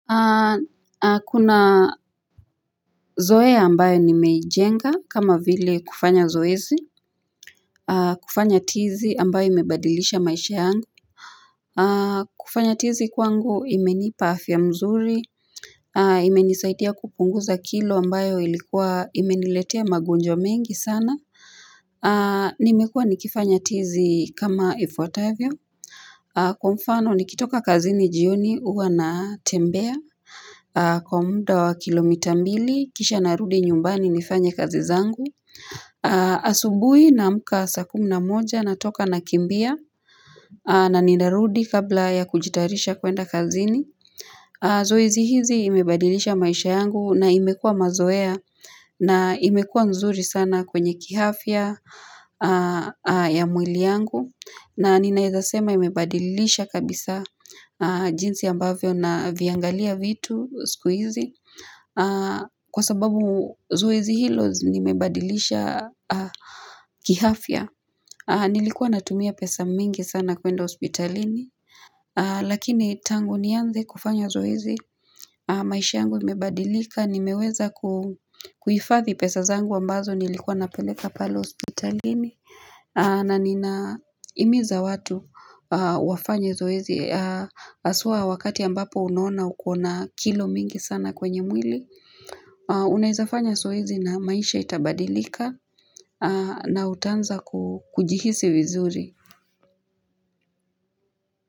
Kuna zoea ambayo nimeijenga kama vile kufanya zoezi kufanya tizi ambayo imebadilisha maisha yangu kufanya tizi kwangu imenipa afya mzuri imenisaidia kupunguza kilo ambayo ilikuwa imeniletea magonjwa mengi sana Nimekua nikifanya tizi kama ifuatavyo Kwa mfano nikitoka kazini jioni huwa natembea Kwa muda wa kilomita mbili kisha narudi nyumbani nifanye kazi zangu asubuhi naamka saa kumi na moja natoka nakimbia na ninarudi kabla ya kujitarisha kwenda kazini Zoezi hizi imebadilisha maisha yangu na imekua mazoea na imekua nzuri sana kwenye kiafya ya mwili yangu na ninaezasema imebadilisha kabisa jinsi ambavyo naviangalia vitu siku hizi Kwa sababu zoezi hilo nimebadilisha kiafya Nilikuwa natumia pesa mingi sana kwenda hospitalini Lakini tangu nianze kufanya zoezi maisha yangu imebadilika Nimeweza kuhifadhi pesa zangu ambazo nilikuwa napeleka pale hospitalini na ninahimiza watu wafanye zoezi haswa wakati ambapo unaona uko na kilo mingi sana kwenye mwili Unaezafanya zoezi na maisha itabadilika na utaanza kujihisi vizuri.